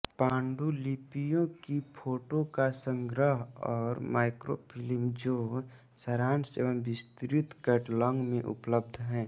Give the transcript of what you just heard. पाण्डुलिपियों की फोटो का संग्रह और माइक्रोफिल्म जो सारांश व विस्तृत कैटलॉग में उपलबध है